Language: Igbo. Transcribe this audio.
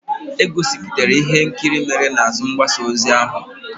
E gosipụtara ihe nkiri ndị mere n'azụ mgbasa ozi ahụ.